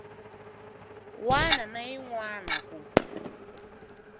wana na yin wana ku